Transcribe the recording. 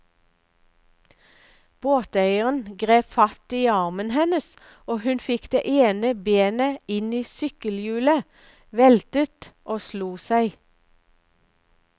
Båteieren grep fatt i armen hennes, og hun fikk det ene benet inn i sykkelhjulet, veltet og slo seg.